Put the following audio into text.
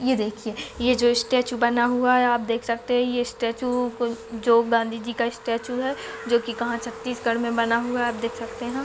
ये देखिए ये जो स्टैचू बना हुआ है आप देख सकते है ये स्टैचू कोइ जो गाँधी जी का स्टैचू है जोकि कहाँ छत्तीसगढ़ में बना हुआ है आप देख सकते हैं।